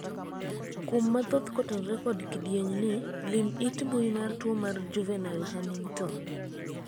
kuom mathoth kotenore kod kidieny ni, lim it mbui mar tuo mar juvenile hunington